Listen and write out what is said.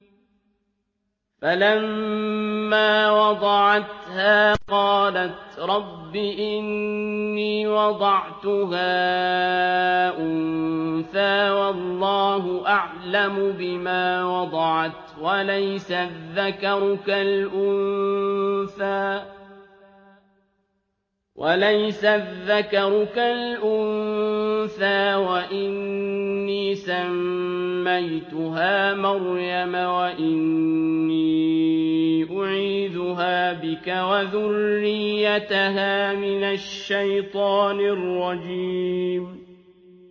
فَلَمَّا وَضَعَتْهَا قَالَتْ رَبِّ إِنِّي وَضَعْتُهَا أُنثَىٰ وَاللَّهُ أَعْلَمُ بِمَا وَضَعَتْ وَلَيْسَ الذَّكَرُ كَالْأُنثَىٰ ۖ وَإِنِّي سَمَّيْتُهَا مَرْيَمَ وَإِنِّي أُعِيذُهَا بِكَ وَذُرِّيَّتَهَا مِنَ الشَّيْطَانِ الرَّجِيمِ